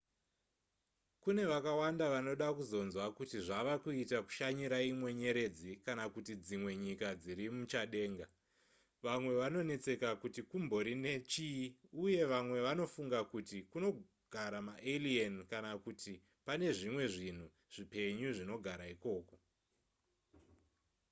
kune vakawanda vanoda kuzonzwa kuti zvava kuita kushanyira imwe nyeredzi kana kuti dzimwe nyika dziri muchadenga vamwe vanonetseka kuti kumbori nechii uye vamwe vanofunga kuti kunogara maalien kana kuti pane zvimwe zvinhu zvipenyu zvinogara ikoko